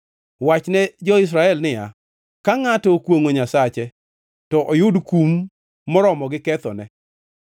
Wachne jo-Israel niya, Ka ngʼato okwongʼo Nyasache, to oyud kum moromo gi kethono,